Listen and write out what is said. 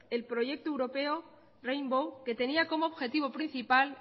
el proyecto europeo rainbow que tenía como objetivo principal